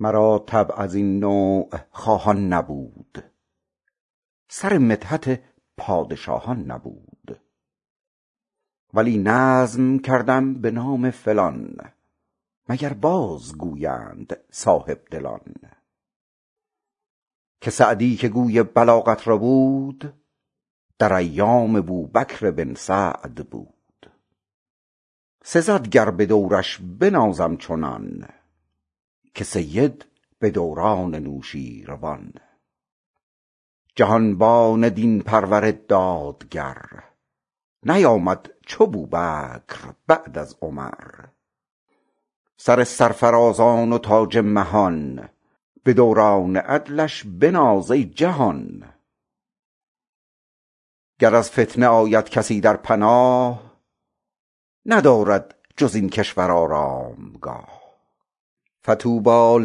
مرا طبع از این نوع خواهان نبود سر مدحت پادشاهان نبود ولی نظم کردم به نام فلان مگر باز گویند صاحبدلان که سعدی که گوی بلاغت ربود در ایام بوبکر بن سعد بود سزد گر به دورش بنازم چنان که سید به دوران نوشیروان جهانبان دین پرور دادگر نیامد چو بوبکر بعد از عمر سر سرفرازان و تاج مهان به دوران عدلش بناز ای جهان گر از فتنه آید کسی در پناه ندارد جز این کشور آرامگاه فطوبی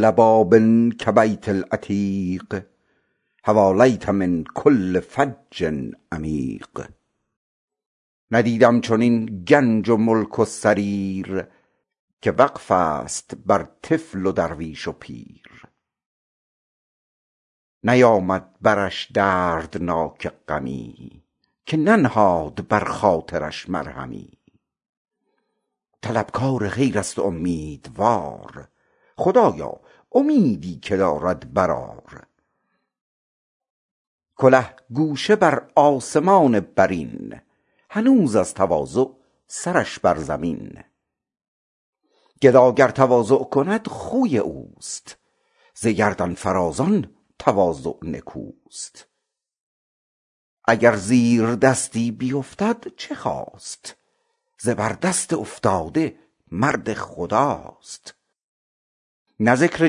لباب کبیت العتیق حوالیه من کل فج عمیق ندیدم چنین گنج و ملک و سریر که وقف است بر طفل و درویش و پیر نیامد برش دردناک غمی که ننهاد بر خاطرش مرهمی طلبکار خیر است امیدوار خدایا امیدی که دارد برآر کله گوشه بر آسمان برین هنوز از تواضع سرش بر زمین گدا گر تواضع کند خوی اوست ز گردن فرازان تواضع نکوست اگر زیردستی بیفتد چه خاست زبردست افتاده مرد خداست نه ذکر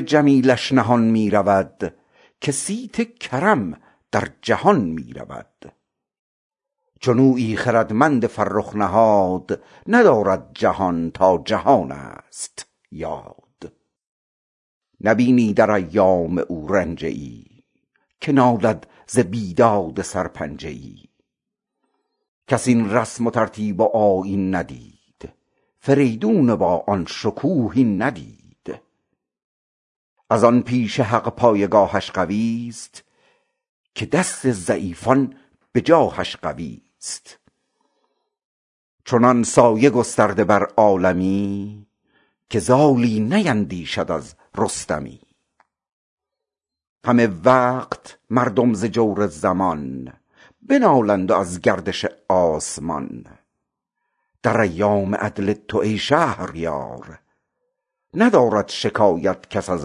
جمیلش نهان می رود که صیت کرم در جهان می رود چنویی خردمند فرخ نژاد ندارد جهان تا جهان است یاد نبینی در ایام او رنجه ای که نالد ز بیداد سرپنجه ای کس این رسم و ترتیب و آیین ندید فریدون با آن شکوه این ندید از آن پیش حق پایگاهش قوی است که دست ضعیفان به جاهش قوی است چنان سایه گسترده بر عالمی که زالی نیندیشد از رستمی همه وقت مردم ز جور زمان بنالند و از گردش آسمان در ایام عدل تو ای شهریار ندارد شکایت کس از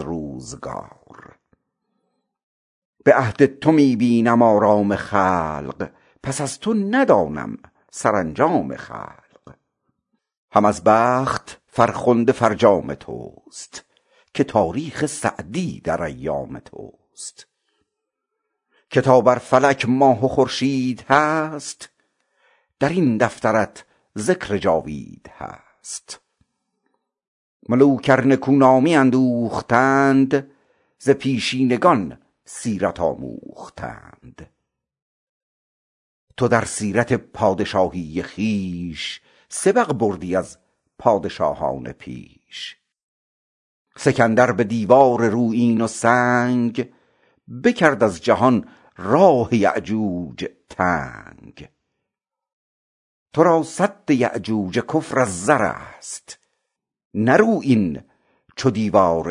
روزگار به عهد تو می بینم آرام خلق پس از تو ندانم سرانجام خلق هم از بخت فرخنده فرجام توست که تاریخ سعدی در ایام توست که تا بر فلک ماه و خورشید هست در این دفترت ذکر جاوید هست ملوک ار نکو نامی اندوختند ز پیشینگان سیرت آموختند تو در سیرت پادشاهی خویش سبق بردی از پادشاهان پیش سکندر به دیوار رویین و سنگ بکرد از جهان راه یأجوج تنگ تو را سد یأجوج کفر از زر است نه رویین چو دیوار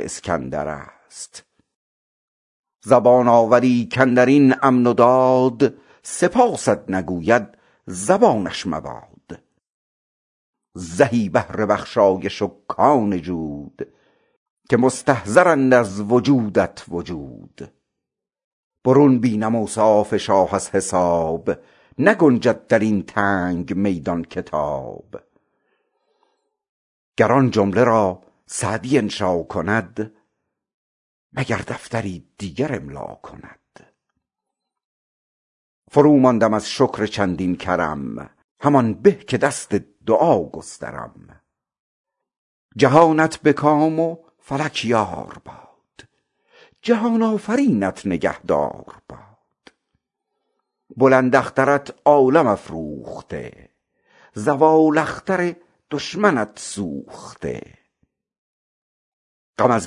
اسکندر است زبان آوری کاندر این امن و داد سپاست نگوید زبانش مباد زهی بحر بخشایش و کان جود که مستظهرند از وجودت وجود برون بینم اوصاف شاه از حساب نگنجد در این تنگ میدان کتاب گر آن جمله را سعدی انشا کند مگر دفتری دیگر املا کند فروماندم از شکر چندین کرم همان به که دست دعا گسترم جهانت به کام و فلک یار باد جهان آفرینت نگهدار باد بلند اخترت عالم افروخته زوال اختر دشمنت سوخته غم از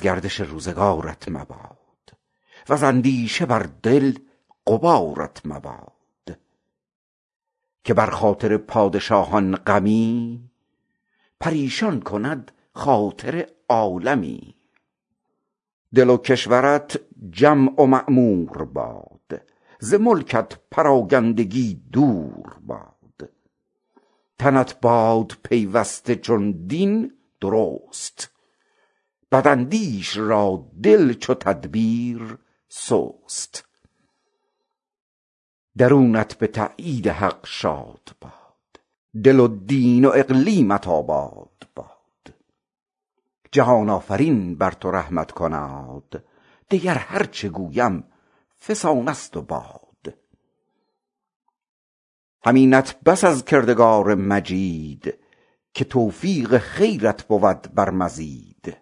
گردش روزگارت مباد وز اندیشه بر دل غبارت مباد که بر خاطر پادشاهان غمی پریشان کند خاطر عالمی دل و کشورت جمع و معمور باد ز ملکت پراکندگی دور باد تنت باد پیوسته چون دین درست بداندیش را دل چو تدبیر سست درونت به تأیید حق شاد باد دل و دین و اقلیمت آباد باد جهان آفرین بر تو رحمت کناد دگر هرچه گویم فسانه ست و باد همینت بس از کردگار مجید که توفیق خیرت بود بر مزید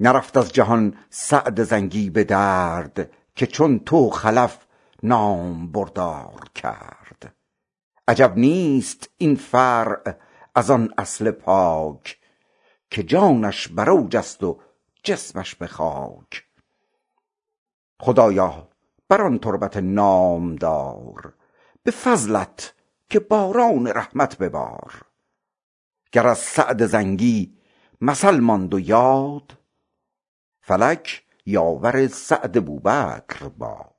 نرفت از جهان سعد زنگی به درد که چون تو خلف نامبردار کرد عجب نیست این فرع از آن اصل پاک که جانش بر اوج است و جسمش به خاک خدایا بر آن تربت نامدار به فضلت که باران رحمت ببار گر از سعد زنگی مثل ماند یاد فلک یاور سعد بوبکر باد